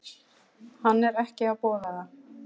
Hann er ekki að boða það.